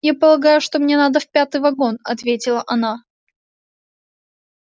я полагаю что мне надо в пятый вагон ответила она